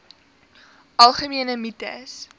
algemene mites